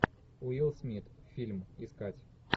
уилл смит фильм искать